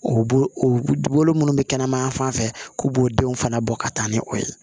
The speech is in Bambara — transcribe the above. O bolo munnu bɛ kɛnɛmana fan fɛ k'u b'o denw fana bɔ ka taa ni o ye